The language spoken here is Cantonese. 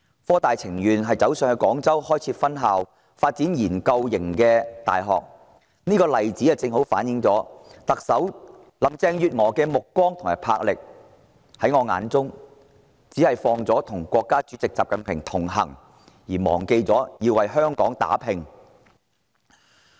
科大寧可北上到廣州開設分校，發展研究型的大學，這例子正好揭示特首林鄭月娥的目光和魄力；在我心目中，她只着眼於與國家主席習近平同行，卻忘了為香港打拼。